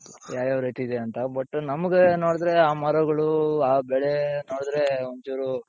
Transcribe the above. ಯಾವ್ಯಾವ್ ರೀತಿ ಇದೆ ಅಂತ but ನಮಗೆ ನೋಡುದ್ರೆ ಆ ಮರಗಳು ಆ ಬೆಳೆ ನೋಡುದ್ರೆ ಒಂದ್ ಚೂರು,